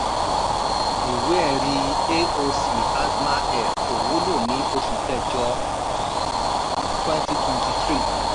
Ìwé-ẹ̀rí AOC asma air kò wúlò ní oṣù kẹjọ twenty twenty three